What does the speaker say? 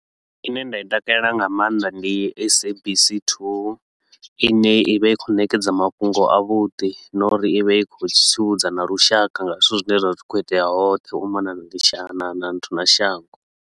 Ine nda i takalela nga maanḓa ndi SABC 2 ine i vha i khou ṋekedza mafhungo a vhudi na uri i vha i khou tsivhudza na lushaka nga zwithu zwine zwa vha zwi khou itea hoṱhe u mona na li na nthu na na shango.